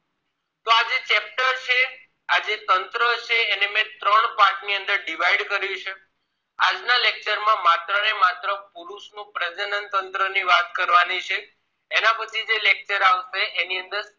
આ જે તંત્ર છે એની મેં ત્રણ part ની અંદર divied કર્યું છે આ lecture માં માત્રને માત્ર પુરુષ નું પ્રજનનતંત્ર ની વાત કરવાની છે એના પછી જે lecture આવશે એની અંદર